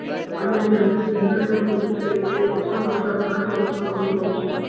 અને જેમને જીલ્લા લેવા મા અધીકારી કે ઓછા મા ઓછા સાત વર્ષ નું અનુભવ છે